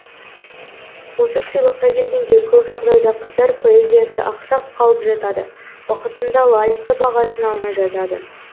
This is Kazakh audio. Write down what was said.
осы сыйлыққа келгенде көп жағдайда қыздар поэзиясы ақсап қалып жатады уақытында лайықты бағасын алмай жатады